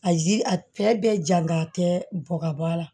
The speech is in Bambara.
A ji a bɛɛ bɛ jan a tɛ bɔ ka bɔ a la